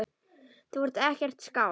Þú ert ekkert skáld.